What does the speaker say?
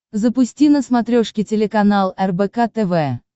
запусти на смотрешке телеканал рбк тв